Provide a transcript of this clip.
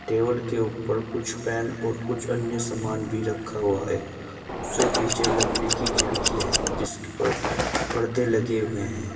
Table के ऊपर कुछ पेन और कुछ अन्य सामान भी रखा हुआ है उससे पीछे लकड़ी की खिड़की है जिसके ऊपर पर्दे लगे हुए हैं।